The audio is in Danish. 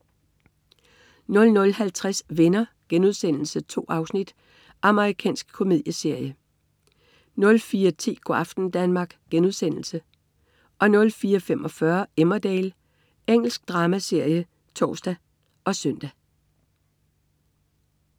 00.50 Venner.* 2 afsnit. Amerikansk komedieserie 04.10 Go' aften Danmark* 04.45 Emmerdale. Engelsk dramaserie (tors og søn)